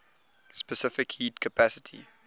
specific heat capacity